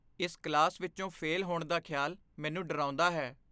ਇਸ ਕਲਾਸ ਵਿੱਚੋਂ ਫੇਲ ਹੋਣ ਦਾ ਖਿਆਲ ਮੈਨੂੰ ਡਰਾਉਂਦਾ ਹੈ।